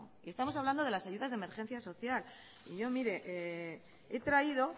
estamos hablando de las ayudas de emergencia social y yo mire he traído